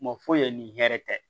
Mɔ foyi ni hɛrɛ tɛ